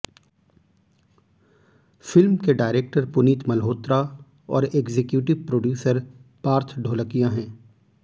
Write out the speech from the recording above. film के director Puneet Malhotra और executive producer Parth Dholakia हैं